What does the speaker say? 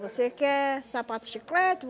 Você quer sapato de chiclete?